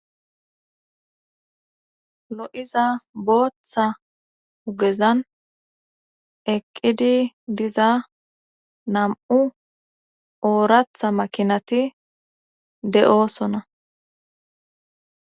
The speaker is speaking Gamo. Lo7iza booththa hugezan eqqidi diza nam7u ooratha makinati de7oosona.